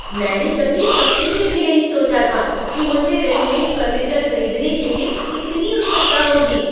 मैंने कभी सपने में भी नहीं सोचा था कि मुझे रेडीमेड फर्नीचर खरीदने के लिए इतनी उत्सुकता होगी।